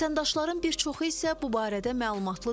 Vətəndaşların bir çoxu isə bu barədə məlumatlı deyil.